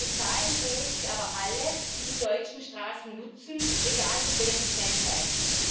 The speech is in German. Bezahlen sollen sie aber alle, die die deutschen Straßen nutzen, egal mit welchen Kennzeichen.